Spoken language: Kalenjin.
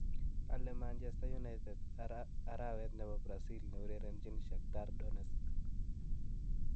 ale manchester united arawet nepo brazil ne urerenjin shakhtar Donetsk �47